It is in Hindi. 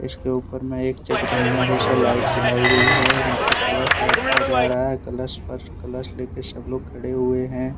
इसके ऊपर मे एक चकदनिया जैसा लाइट जलाई गई है। यहां पर कलश यात्रा जा रहा है। कलश पर कलश लेकर सब लोग खड़े हुए हैं।